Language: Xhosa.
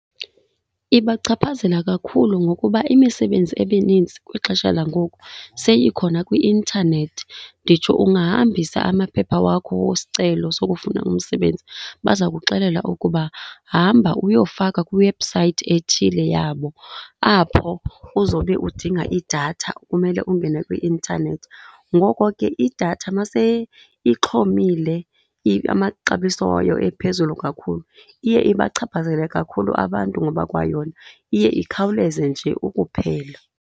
Ibachaphazela kakhulu ngokuba imisebenzi emininzi kwixesha langoku seyikhona kwi-intanethi. Nditsho ungahambisa amaphepha wakho wesicelo sokufuna umsebenzi baza kuxelela ukuba hamba uyofaka kwiwebhusayithi ethile yabo apho uzobe udinga idatha, kumele ungene kwi-intanethi. Ngoko ke idatha maseyixhomile amaxabiso wayo ephezulu kakhulu iye ibachaphazele kakhulu abantu ngoba kwayona iye ikhawuleze nje ukuphela.